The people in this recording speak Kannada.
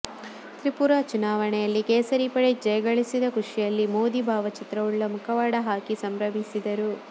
ತ್ರಿಪುರಾ ಚುನಾವಣೆಯಲ್ಲಿ ಕೇಸರಿ ಪಡೆ ಜಯಗಳಿಸಿದ ಖುಷಿಯಲ್ಲಿ ಮೋದಿ ಭಾವಚಿತ್ರವುಳ್ಳ ಮುಖವಾಡ ಹಾಕಿ ಸಂಭ್ರಮಿಸಿದರು